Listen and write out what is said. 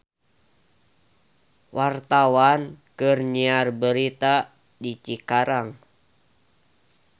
Wartawan keur nyiar berita di Cikarang